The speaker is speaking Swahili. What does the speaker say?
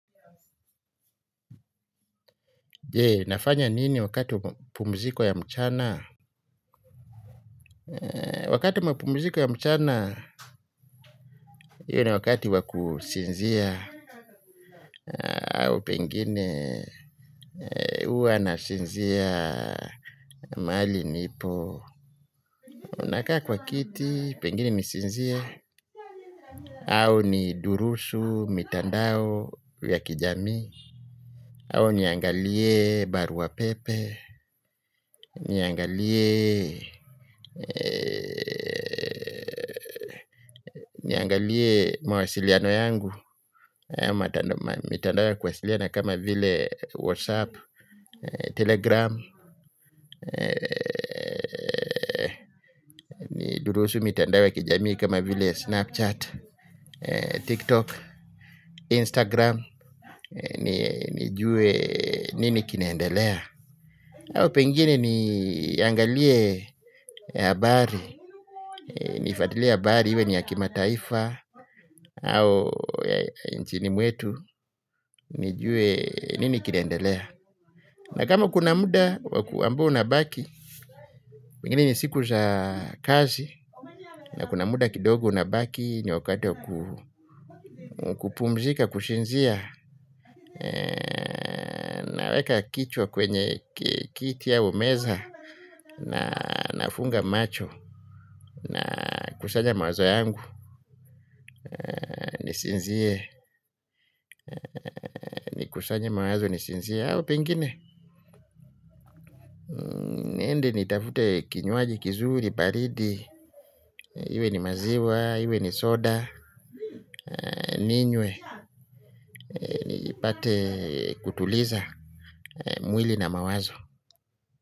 Je, nafanya nini wakati wa mapumziko ya mchana? Wakati mapumziko ya mchana, hiyo na wakati wa kusinzia. Au pengine, huwa nasinzia mahali nipo. Nakaa kwa kiti, pengine nisinzie. Au ni durusu, mitandao, ya kijamii. Au niangalie barua pepe. Niangalie, niangalie mawasiliano yangu. Mitandao ya kuwasiliana kama vile whatsapp, telegram, durusu mitandao ya kijamii kama vile snapchat, tiktok, instagram, nijue nini kinaendelea. Au pengine niangalie habari, nifuatilie habari, iwe ni ya kimataifa, au nchini mwetu, nijue nini kinaendelea. Na kama kuna muda wakuambua unabaki, pengine ni siku za kazi, na kuna muda kidogo unabaki ni wakati wakupumzika, kusinzia. Naweka kichwa kwenye kiti au meza. Na nafunga macho. Nakusanya mawazo yangu. Ni sinzie. Ni kusanye mawazo ni sinzie au pengine niende ni tafute kinywaji kizuri baridi. Iwe ni maziwa, iwe ni soda. Ninywe. Ni pate kutuliza mwili na mawazo.